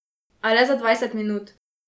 A le za dvajset minut.